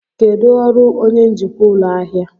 Kedu ọrụ onye njikwa ụlọ ahịa?